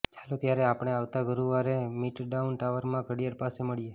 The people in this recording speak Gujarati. ચાલો ત્યારે આપણે આવતા ગુરુવારે મિડટાઉન ટાવરમાં ઘડિયાળ પાસે મળીએ